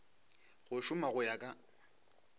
go šoma go ya ka